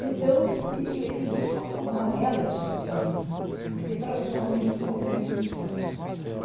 Então, e eles não se conformavam, elas sobretudo, porque para os homens nunca houve restrição, você sabe.